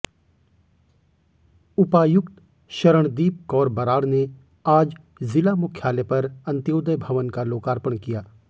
उपायुक्त शरणदीप कौर बराड़ ने आज जिला मुख्यालय पर अंत्योदय भवन का लोकार्पण किया